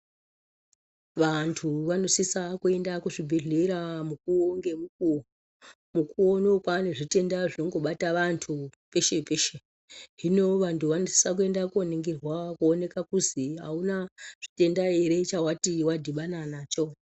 Vantu vanosisa kuenda kuzvibhedhlera mukuwo ngemukuwo mukuwo unowu kwane zvitenda zvongobata vantu peshe peshe hino vantu vanosisa koningirwa kuoneka kuzi hauna chitenda ere chawati wadhibana nacho.